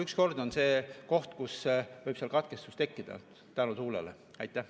Üks kord on see koht, kus võib seal katkestus tekkida tuule tõttu.